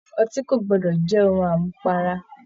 Ọtí ko gbọdọ jẹ ohùn amupara.